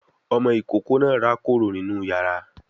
Ọmọ ìkókó náà rákòrò nínú yàrá